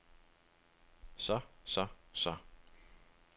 så så så